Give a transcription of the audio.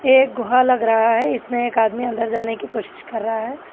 एक गुहा लग रहा है इसमें एक आदमी अंदर जाने की कोशिश कर रहा है।